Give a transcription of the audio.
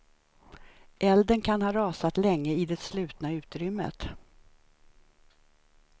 Elden kan ha rasat länge i det slutna utrymmet.